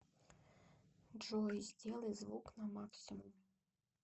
джой сделай звук на максимум